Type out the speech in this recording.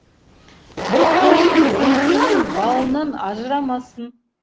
бір қолың сөмкенің бауынан ажырамасын